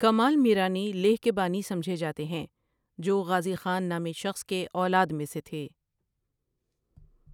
کمال میرانی لیہ کے بانی سمجھے جاتے ہیں جو غازی خان نامے شخص کے اولاد میں سے تھے ۔